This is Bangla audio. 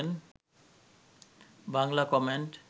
বাংলা কমেন্ট